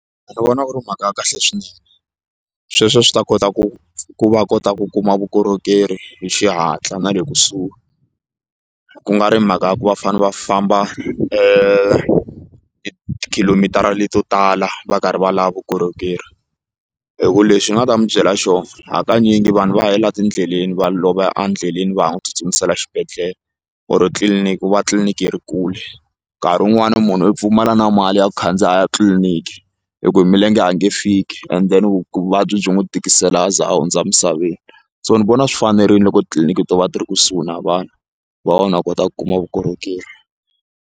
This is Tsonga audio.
Ndzi vona ku ri mhaka ya kahle swinene sweswo swi ta kota ku ku va kota ku kuma vukorhokeri hi xihatla na le kusuhi ku nga ri mhaka ya ku va fane va famba tikhilomitara leto tala va karhi va lava vukorhokeri hi ku lexi ni nga ta mi byela xona hakanyingi vanhu va helela etindleleni va lova endleleni va ha n'wi tsutsumisela xibedhlele or tliliniki va tliliniki ri kule nkarhi wun'wani munhu u pfumala na mali ya ku khandziya a ya tliliniki hi ku hi milenge ange fiki and then vu vuvabyi byi n'wi tikisela a za a hundza emisaveni so ni vona swi fanerile loko titliliniki to va ti ri kusuhi na vanhu ku va vanhu va kota ku kuma vukorhokeri.